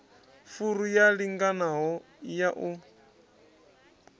furu yo linganaho ya u